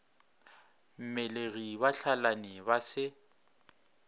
mmelegi ba hlalane ba se